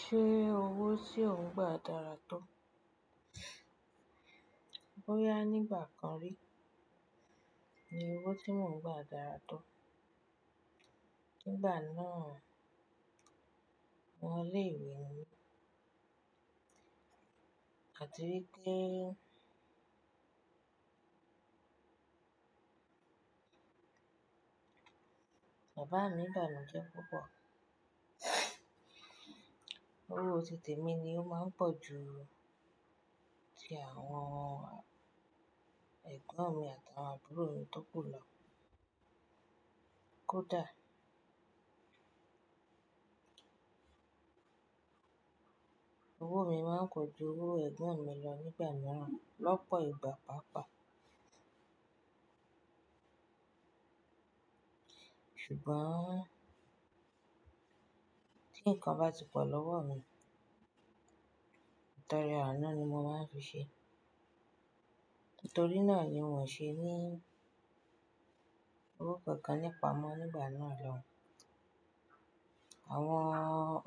Ṣé owó tí ò ń gba dára tó? Bóyá nígbà kan rí ni owó tí mò ń gba dára tó. Nígbà náà, ọmọ ilé ìwé ni mi àti wípé bàbá mi bàmi jẹ́ púpọ̀. Owó títè mi ni ó máa ń pọ̀ ju ti àwọn ẹ̀gbọ́n mi àtàwọn àbúrò mi tó kù lọ. Kódà owó mi máa ń pọ̀ ju owó ẹ̀gbọ́n mi lọ nígbà mìíràn, lọ́pọ̀ ìgbà pàápàá. Ṣùgbọ́n tí nǹkan bá ti pọ̀ lọ́wọ́ mi, ìtọrẹ ànú ni mo máa ń fi ṣe. Nítorí náà ni wọn ṣe ní owó kankan nípa mọ nígbà náà lọun. Àwọn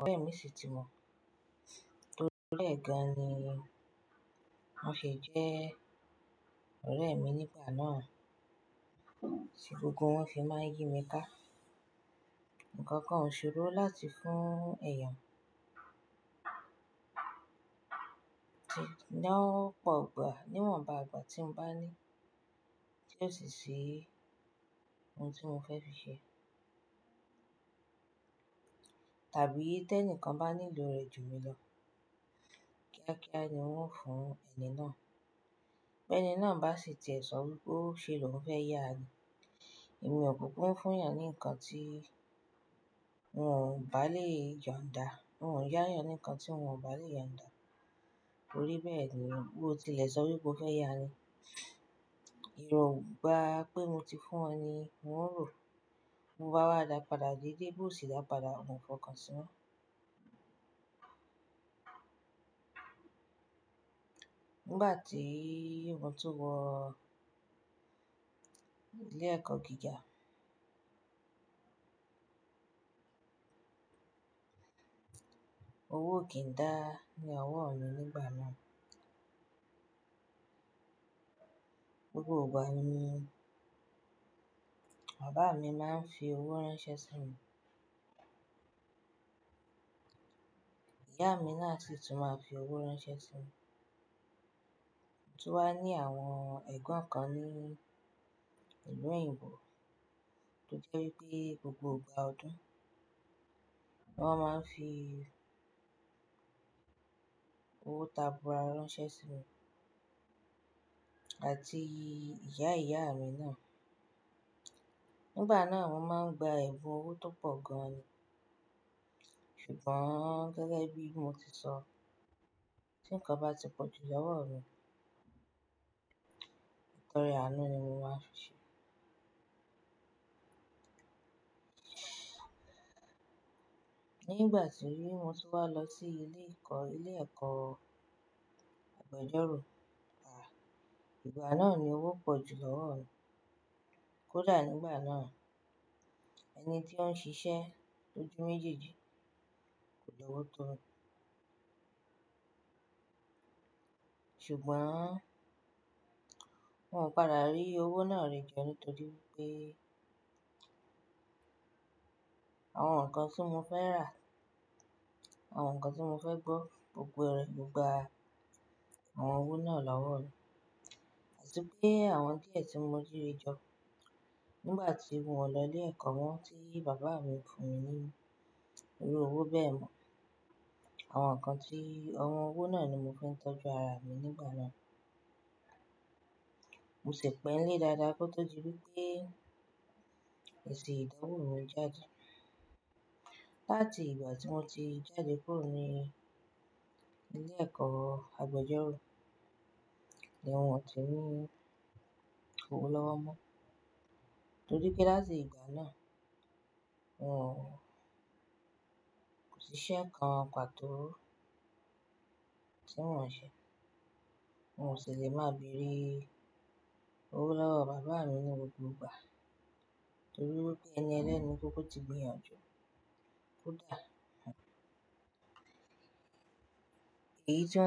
ọ̀rẹ́ mi sì ti mọ̀, torí e gan ni wọ́n ṣe jẹ́ ọ̀rẹ́ mi nígbà náà. Tí gbogbo wọn fi máa ń yí mi ká. Nǹkan kan ò ṣòro láti fún ẹ̀eyàn lóopọ̀ ìgbà, níwọ̀nba ìgbà tí ń bá ní tí ó sì ṣi ohun tí mo fẹ́ fi ṣe. Tàbí tẹni kan bá nílò rẹ̀ jù mí lọ, kíákíá ni wọn ó fún ẹni náà. Beni náà bá sì ti ẹ̀ sọ wípé ó ṣe lọ́un fẹ́ yá ni. Èmi ò kúkú ń fún èèyàn ní nǹkan tí wọn bá lè yon dá. Wọn ò yá èèyàn ní nǹkan tí wọn ò bá lè yàn dá. Torí bẹ́ẹ̀ ni, bó ti lẹ́sọ wípé ó fẹ́ yá ni, ìrọ̀ ìgbà pé mo ti fún ọ ni wọn rò. Bo bá wá dàá padà déédéé, bó sì dàá padà, wọn ò fọkàn sí mo. Nígbà tí mo tó wọ ilé ẹ̀kọ́ gíga, owó kì í dá ní ọwọ́ mi nígbà náà. Gbogbo ìgbà ni, bàbá mi máa ń fi owó ránṣẹ́ sí mi. Ìyá mi náà sì tún máa fi owó ránṣẹ́ sí mi. Tú wa nií àwọn ẹ̀gbọ́n kan ní ìlú òyìnbó tó jẹ́ wípé gbogbo ìgbà ọdún wọn máa ń fi owó ta búà ránṣẹ́ sí mi àti ìyá ìyá mi náà. Nígbà náà, mo máa ń gba ẹ̀bùn owó tó pọ̀ gan ni. Ṣùgbọ́n gẹ́gẹ́ bí mo ti sọ, tí nǹkan bá ti pọ̀jù lọ́wọ́ mi, ìtọrẹ ànú ni mo máa ń fi ṣe. Nígbà tí mo tún wá lọ sí ilé ẹ̀kọ́, ilé ẹ̀kọ́ agbẹjọ́rò, à, ìgbà náà ni owó pọ̀jù lọ́wọ́ mi. Kódà nígbà náà ẹni tí ó ń ṣiṣẹ́ lójú méjèèjì kò lówó tó mi. Ṣùgbọ́n wọn padà rí owó náà rẹ̀ jẹ nítorí pé àwọn nǹkan tí mo fẹ́ rà, àwọn nǹkan tí mo fẹ́ gbọ́, gbogbo rẹ̀ ń gba àwọn owó náà lọ́wọ́ mi. Àti pé àwọn díẹ̀ tí mo ri re jọ nígbà tí mi ò lọ ilé ẹ̀kọ́ mo tí bàbá mi fún mi ní irú owó bẹ́ẹ̀ mọ̀. Àwọn nǹkan tí, àwọn owó náà ni mo fi ń tọ́jú ara mi nígbà náà. Mo sì pẹ́ nílé dáadáa kó tó di wípé èsì ìdánwò mi jáde. Láti ìgbà tí mo ti jáde kúrò ní ilé ẹ̀kọ́ agbẹjọ́rò, ni wọn ò tí ní owó lọ́wọ́ mọ́. Torí pé láti ìgbà náà, wọn ò-- kò sí iṣẹ́ kan pàtó tí mo ń ṣe. Wọn ò sì lè máa bèrè owó lọ́wọ́ bàbá mi ní gbogbo ìgbà torí wípé ẹni ẹlẹ́ni kúkú ti gbéyànjú. Kódà èyí tí wọn.